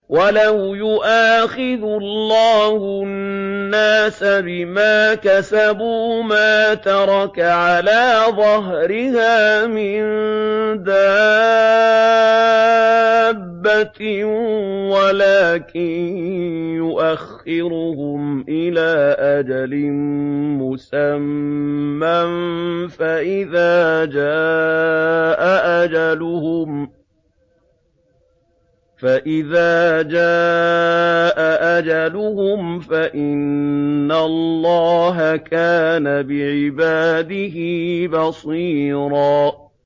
وَلَوْ يُؤَاخِذُ اللَّهُ النَّاسَ بِمَا كَسَبُوا مَا تَرَكَ عَلَىٰ ظَهْرِهَا مِن دَابَّةٍ وَلَٰكِن يُؤَخِّرُهُمْ إِلَىٰ أَجَلٍ مُّسَمًّى ۖ فَإِذَا جَاءَ أَجَلُهُمْ فَإِنَّ اللَّهَ كَانَ بِعِبَادِهِ بَصِيرًا